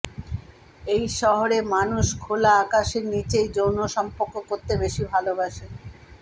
এই শহরে মানুষ খোলা আকাশের নিচেই যৌন সম্পর্ক করতে বেশি ভালোবাসেন